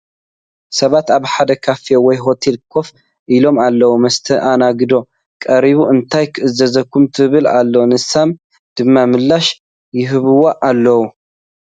ሰባት ኣብ ሓደ ካፌ ወይ ሆቴል ኮፍ ኢሎም ኣለዉ፡፡ መስተኣናገዲት ቀሪባ እንታይ ክእዘዝ ትብል ኣላ፡፡ ንሶም ድማ ምላሽ ይህብዋ ኣለዉ፡፡